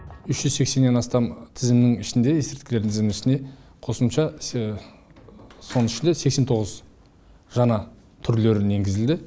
үш жүз сексеннен астам тізімнің ішінде есірткілердің тізімінің ішінде қосымша соның ішінде сексен тоғыз жаңа түрлерін енгізілді